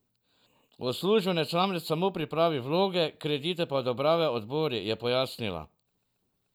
Uslužbenec namreč samo pripravi vloge, kredite pa odobravajo odbori, je pojasnila.